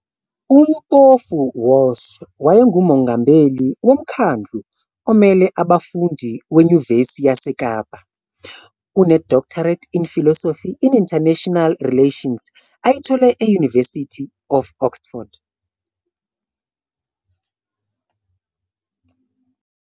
UMpofu-Walsh wayengumongameli woMkhandlu Omele Abafundi Wenyuvesi YaseKapa Une-DPhil in International Relations ayithole e-University of Oxford.